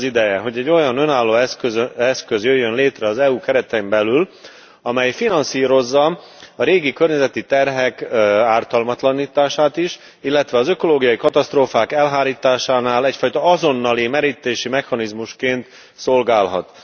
Itt az ideje, hogy egy olyan önálló eszköz jöjjön létre az EU keretein belül, amely finanszírozza a régi környezeti terhek ártalmatlanítását is, illetve az ökológiai katasztrófák elhárításánál egyfajta azonnali merítési mechanizmusként szolgálhat.